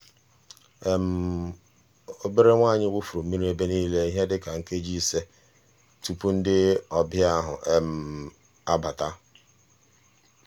obere nwa anyị wụfuru mmiri ebe niile ihe dịka nkeji ise tụpụ ndị ọbịa ahụ abata. um